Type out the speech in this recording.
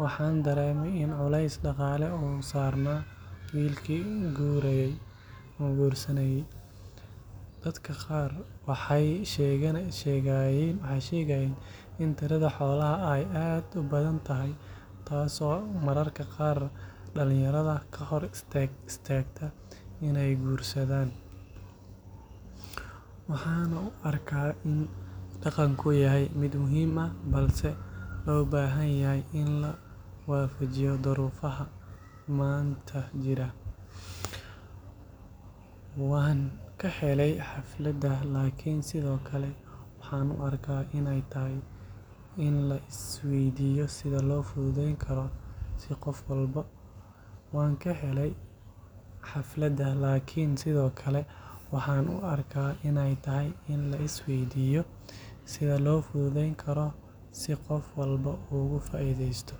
waxaan dareemay in culays dhaqaale uu saarnaa wiilkii guurayay. Dadka qaar waxay sheegayeen in tirada xoolaha ay aad u badan tahay, taasoo mararka qaar dhalinyarada ka hor istaagta inay guursadaan. Waxaan u arkaa in dhaqanku yahay mid muhiim ah, balse loo baahan yahay in la waafajiyo duruufaha maanta. Waan ka helay xafladda, laakiin sidoo kale waxaan u arkaa inay tahay in la isweydiiyo sida loo fududeyn karo si qof walba uu ugu faa’iidaysto.